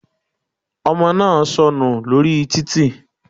Ọmọ náà sọnù lórí títì.